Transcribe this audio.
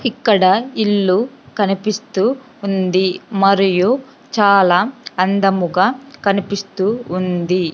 ఇక్కడ ఇల్లు కనిపిస్తు ఉంది మరియు చాలా అందముగా కనిపిస్తూ ఉంది.